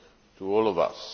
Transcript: to all of us.